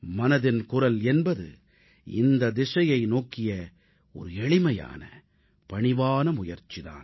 மனதின் குரல் என்பது இந்த திசையை நோக்கிய எளிமையான பணிவான முயற்சி தான்